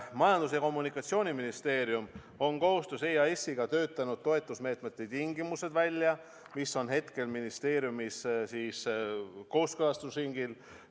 Majandus- ja Kommunikatsiooniministeerium on koostöös EAS-iga töötanud välja toetusmeetmete tingimused, mis on hetkel ministeeriumis kooskõlastusringil.